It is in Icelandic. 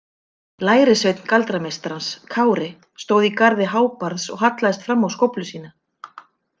Lærisveinn galdrameistarans Kári stóð í garði Hárbarðs og hallaðist fram á skóflu sína.